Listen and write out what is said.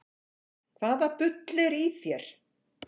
Hvaða bull er í þér?